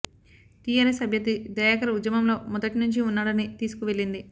TRS అభ్యర్థి దయాకర్ ఉద్యమంలో మొదటి నుంచి ఉన్నాడని తీసుకు వెళ్లింది